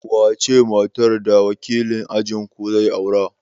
Wace ce matar da wakilin ajinku zai aura?